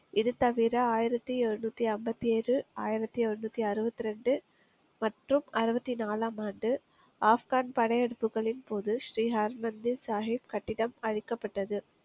இது தவிர ஆயிரத்தி எழுநூத்தி ஐம்பத்தி ஏழு ஆயிரத்தி எழுநூத்தி அறுபத்தி ரெண்டு மற்றும் அறுபத்தி நாலாம் ஆண்டு ஆப்கான் படையெடுப்புகளின் போது ஸ்ரீஹான் மன்தீப் சாகிப் கட்டிடம் அளிக்கப்பட்டது